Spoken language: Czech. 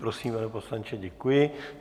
Prosím, pane poslanče, děkuji.